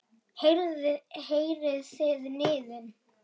Heyrið þið niðinn?